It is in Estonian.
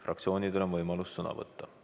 Fraktsioonidel on võimalus sõna võtta.